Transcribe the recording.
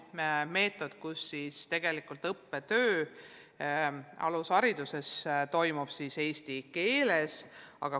Meie meetod püüdleb sinnapoole, et õppetöö alushariduses toimub eesti keeles.